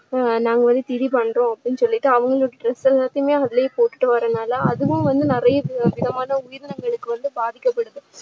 ஆஹ் நாங்க வந்து திதி பண்ணுறோம் அப்படின்னு சொல்லிட்டு அவங்க dress எல்லாமே அதுலேயே போட்டுட்டு வர்றதுனால அதுவும் வந்து நிறைய விதமான உயிரினங்களுக்கு வந்து பாதிக்கப்படுது.